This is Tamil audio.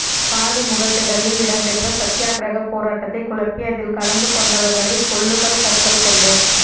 காலிமுகத்திடலில் இடம் பெற்ற சத்தியக்கிரகப் போராட்டதை குழப்பி அதில் கலந்துகொண்டவர்களை பொல்லுகள் கற்கள்கொண்டு